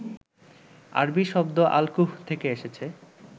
আরবি শব্দ আল-কুহ থেকে এসেছে